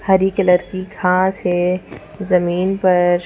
हरी colour की घास है जमीन पर--